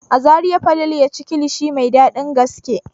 A Zariya Falalu ya ci kilishi mai dadin gaske.